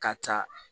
Ka taa